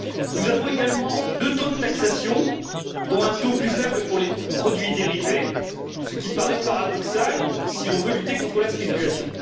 Nous avons également deux taux de taxation, dont un taux plus faible pour les produits dérivés, ce qui paraît paradoxal si l'on veut lutter contre la spéculation.